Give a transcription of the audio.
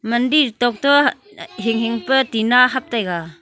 mandir tokto eh hinghing pa tina hap taiga .